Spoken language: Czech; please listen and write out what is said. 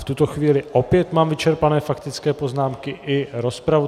V tuto chvíli mám opět vyčerpané faktické poznámky i rozpravu.